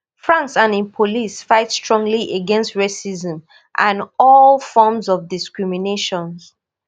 france and im police fight strongly against racism and all forms of discrimination